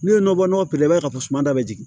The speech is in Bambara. N'o ye nɔgɔ kɛ i b'a fɔ suma dɔ bɛ jigin